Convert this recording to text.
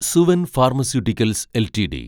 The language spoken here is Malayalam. Suven pharmaceuticals LTD